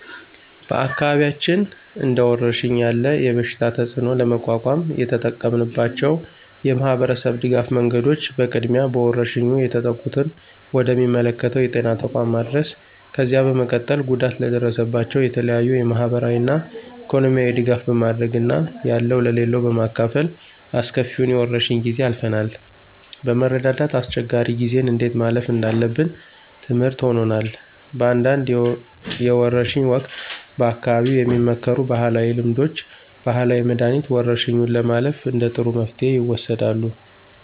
በአካባቢያችን እንደወረርሽኝ ያለ የበሽታ ተፅእኖ ለመቋቋም የተጠቀምንባቸው የማህበረሰብ ድጋፍ መንገዶች በቅድሚያ በወረርሽኙ የተጠቁትን ወደ ሚመለከተው የጤና ተቋም ማድረስ፣ ከዚያ በመቀጠል ጉዳት ለደረሰባቸው የተለያዩ የማህበራዊና ኢኮኖሚያዊ ድጋፍ በማድረግ እና ያለው ለሌለው በማካፈል አስከፊውን የወረርሽ ጊዜ አልፈናል። በመረዳዳት አስቸጋሪ ጊዜን እንዴት ማለፍ እንዳለብን ትምርህት ሆኖናል። በአንዳንድ የወርሽ ወቅት በአካባቢው የሚመከሩ ባህላዊ ልምዶች፣ ባህላዊ መድኃኒት፣ ወረርሽኙን ለማለፍ እንደ ጥሩ መፍትሄ ይወሰዳሉ።